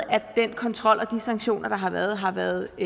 den kontrol og de sanktioner der har været har været